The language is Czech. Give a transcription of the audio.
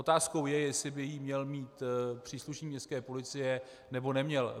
Otázkou je, jestli by ji měl mít příslušník městské policie, nebo neměl.